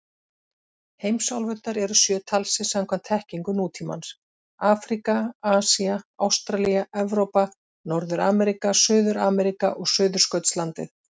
Heimsálfurnar eru sjö talsins samkvæmt þekkingu nútímans: Afríka, Asía, Ástralía, Evrópa, Norður-Ameríka, Suður-Ameríka og Suðurskautslandið.